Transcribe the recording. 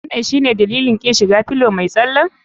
Wanan shine dalilin kin shiga fillow mai tsalen?